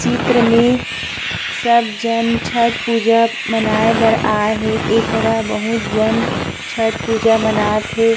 चित्र में सब जहाँ छठ पूजा मनाय बर आए हे एकरा बहुत झन छठ पूजा मानत हे।